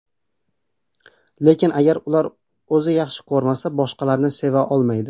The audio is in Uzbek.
Lekin, agar ular o‘zini yaxshi ko‘rmasa, boshqalarni seva olmaydi.